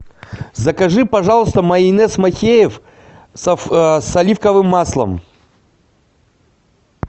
закажи пожалуйста майонез махеев с оливковым маслом